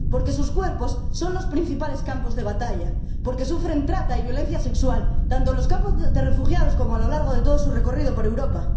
Porque sus cuerpos son los principales campos de batalla, porque sufren trata y violencia sexual tanto en los campos de refugiados como a lo largo de todo su recorrido por Europa.